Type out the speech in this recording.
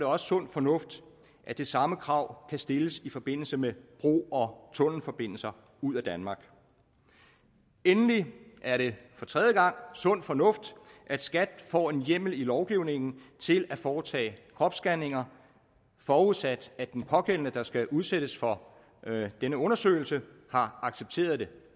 også sund fornuft at det samme krav kan stilles i forbindelse med bro og tunnelforbindelser ud af danmark endelig er det sund fornuft at skat får en hjemmel i lovgivningen til at foretage kropsscanninger forudsat at den pågældende der skal udsættes for denne undersøgelse har accepteret det